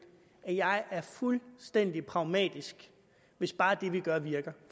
at jeg er fuldstændig pragmatisk hvis bare det vi gør virker